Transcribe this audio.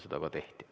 Seda ka tehti.